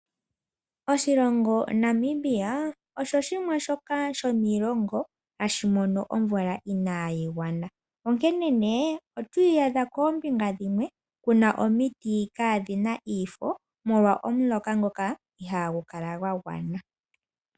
Oshilongo Namibia osho shimwe shoka shomiilongo hashi mono omvula inaayi gwana, onkene nee otwi iyadha koombinga dhimwe kuna omiti kaadhina iifo molwa omuloka ngoka ihaagu kala gwa gwana.